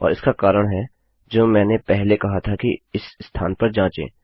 और इसका कारण है जो मैंने पहले कहा था कि इस स्थान पर जाँचें